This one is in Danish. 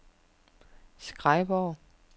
Skrejborg